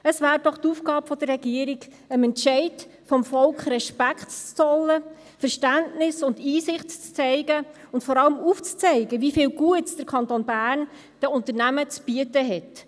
Es wäre doch die Aufgabe der Regierung, dem Entscheid des Volkes Respekt zu zollen, Verständnis und Einsicht zu zeigen und vor allem aufzuzeigen, wie viel Gutes der Kanton Bern den Unternehmen zu bieten hat: